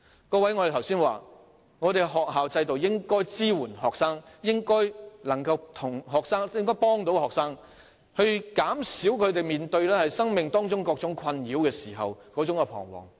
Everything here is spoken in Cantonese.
各位，我剛才說，香港的學校制度應該支援學生，應該能夠協助學生，在他們面對生命中各種困擾時，減輕他們的彷徨。